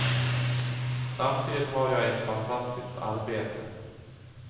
Samtidigt har jag ett fantastiskt arbete.